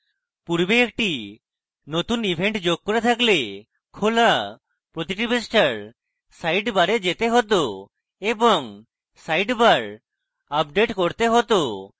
পূর্বে একটি নতুন event যোগ করে থাকলে খোলা প্রতিটি পৃষ্ঠার সাইডবারে যেতে হত এবং sidebar আপডেট করতে হত